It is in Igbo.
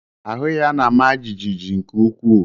Ahu ya na-ama jijiji nke ukwuu.